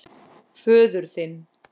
Föður þinn.